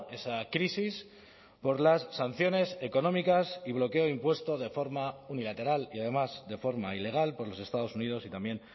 esa crisis por las sanciones económicas y bloqueo impuesto de forma unilateral y además de forma ilegal por los estados unidos y también